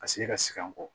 Ka se ka segin an kɔ